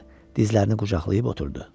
Dizlərini qucaqlayıb oturdu.